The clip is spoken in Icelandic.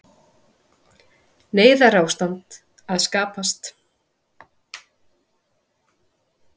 Neyðarástand að skapast